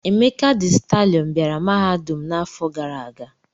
Emeka dị stalịọn bịara mahadum m n'afọ gara aga.